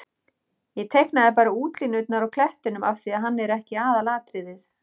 Ég teiknaði bara útlínurnar á klettinum af því að hann er ekki aðalatriðið.